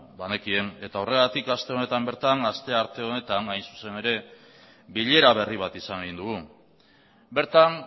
banekien eta horregatik aste honetan bertan astearte honetan hain zuzen ere bilera berri bat izan egin dugu bertan